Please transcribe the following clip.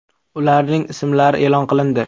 Ularning ismlari e’lon qilindi.